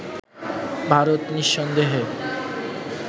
ভারত নিঃসন্দেহে